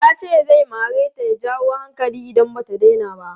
Yace zai mareta ya jawo hankali idan bata daina ba.